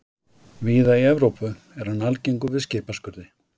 Víða í Evrópu er hann algengur við skipaskurði.